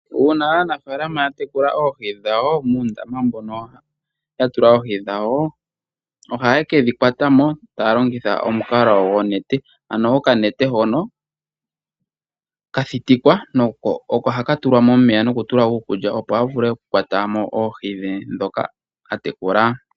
Uuna aanafalama ya tekula oohi dhawo muundama mbono ya tula oohi dhawo, ohaya kedhi kwata mo taya longitha oonete. Ano okanete hono ka thitikwa oko haka tulwa momeya nokutulwa iikulya opo a vule okukwata mo pphi dhe dhoka atekula.